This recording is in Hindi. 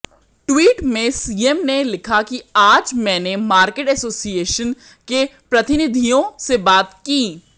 ट्वीट में सीएम ने लिखा कि आज मैंने मार्केट एसोसिएशन के प्रतिनिधियों से बात की